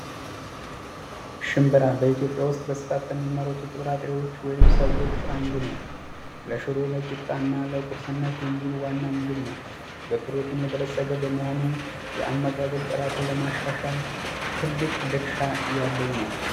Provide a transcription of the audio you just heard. ሽንብራ በኢትዮጵያ ውስጥ በብዛት ከሚመረቱ ጥርጣሬዎች ወይም ሰብሎች ውስጥ አንዱ ነው። ለሽሮ ፣ለቂጣ ፣እና ለቁርስነት የሚውል ዋና ምግብ ነው። በፕሮቲን የበለፀገ በመሆኑ የአመጋገብ ጥራትን ለማሻሻል ትልቅ ድርሻ ያለው ነው።